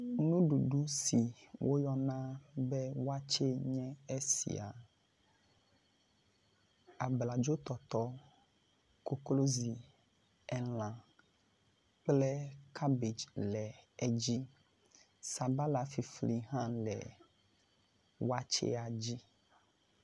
Nuɖuɖu si woyɔna be wakye nye esia. Abladzotɔtɔ, koklozi, elã kple cabbage le edzi. Sabala fifli hã le wakyea dzi.